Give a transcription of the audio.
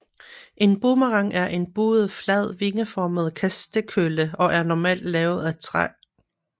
En boomerang er en buet flad vingeformet kastekølle og er normalt lavet af træ